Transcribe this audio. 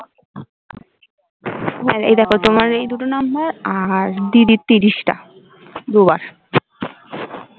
হ্যাঁ এই দেখ তোমার এই দুটো নাম্বার আর দিদির তিরিশটা দুবার